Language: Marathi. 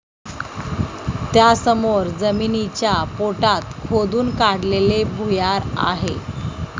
त्यासमोर जमिनीच्या पोटात खोदून काढलेले भुयार आहे.